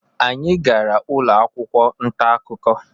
anyị gara ụlọ akwụkwọ nta akụkọ